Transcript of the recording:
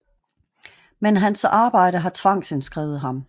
Men hans arbejdet har tvangsindskrevet ham